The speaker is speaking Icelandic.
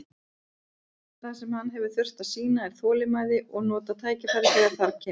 Það sem hann hefur þurft að sýna er þolinmæði og nota tækifærið þegar það kemur.